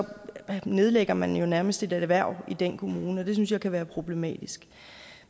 nedlægger man jo nærmest et erhverv i den kommune og det synes jeg kan være problematisk